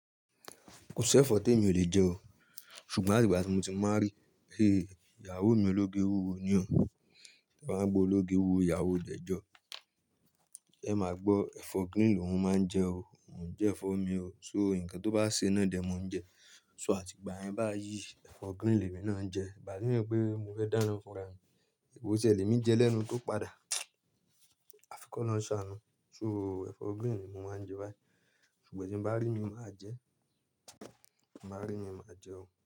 Kò sí ẹ̀fọ́ tí èmi ò lè jẹ o, ṣùgbọ́n àti ìgbà tí mo ti márry, hé, ìyàwó mi ológe wúwo ni o, ẹ máa gbọ́ ológe wúwo ìyàwó jẹ́jọ́, ẹ máa gbọ́ ẹ̀fọ́ green ni òun máa ń jẹ o, òun jẹ ẹ̀fọ́ mi o. So nǹkan tó bá ṣe ná dẹ, mo ń jẹ. So àtìgbà yẹn bá yí ẹ̀fọ́ green lèmi náà jẹ, ìbà mí pé mo fẹ́ dáná fúnra mi, èpò ṣẹ lèmi jẹ lẹ́nu tó padà. Àfikọ́ náà ń ṣàánú. So ẹ̀fọ́ green ni mo máa ń jẹ báyìí. Ṣùgbọ́n tí n bá rí, mi máa jẹ, bá rí mi máa jẹ o.